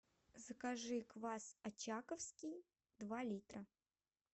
закажи квас очаковский два литра